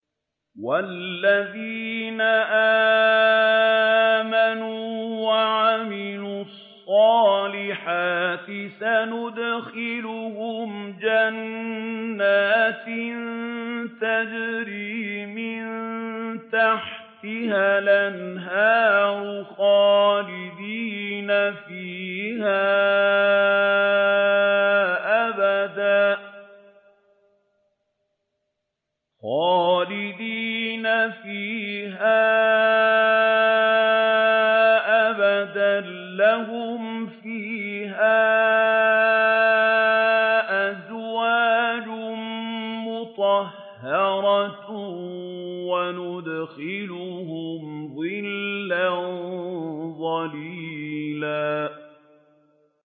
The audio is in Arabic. وَالَّذِينَ آمَنُوا وَعَمِلُوا الصَّالِحَاتِ سَنُدْخِلُهُمْ جَنَّاتٍ تَجْرِي مِن تَحْتِهَا الْأَنْهَارُ خَالِدِينَ فِيهَا أَبَدًا ۖ لَّهُمْ فِيهَا أَزْوَاجٌ مُّطَهَّرَةٌ ۖ وَنُدْخِلُهُمْ ظِلًّا ظَلِيلًا